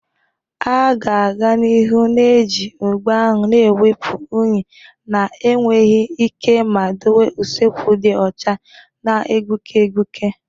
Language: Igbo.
A ga-aga n'ihu na-eji ogbo ahụ na-ewepụ unyi na-enweghị ike ma dowe usekwu dị ọcha na-egbuke egbuke.